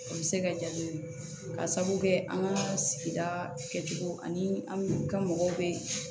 O bɛ se ka ja ne ye ka sababu kɛ an ka sigida kɛcogo ani ka mɔgɔw bɛ